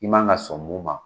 I man ka sɔn min ma.